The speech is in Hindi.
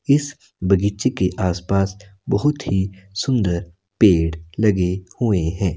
इस बगीचे के आसपास बहुत ही सुंदर पेड़ लगे हुए हैं।